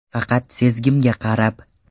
Faqat sezgimga qarab.